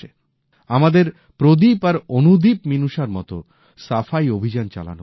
আমাদের প্রদীপ আর অনুদীপমিনুষার মতো সাফাই অভিযান চালানো উচিত